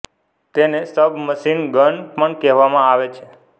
તેને sub machine gun પણ કહેવામાં આવે છે